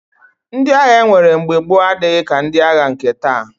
Ndị agha e nwere mgbe gboo adịghị ka ndị agha nke taa